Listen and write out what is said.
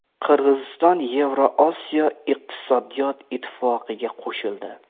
Qirg‘iziston Yevroosiyo iqtisodiy ittifoqiga qo‘shildi.